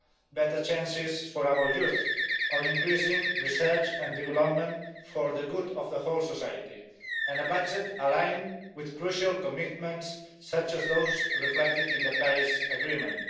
better chances for our youth or increasing research and development for the good of all of society and a budget aligned with crucial commitments such as those reflected in the Paris Agreement.